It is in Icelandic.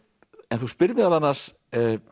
en þú spyrð meðal annars